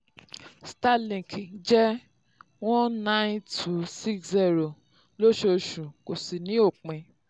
starlink jẹ́ one nine two six zero lóṣooṣù kò sì ní òpin.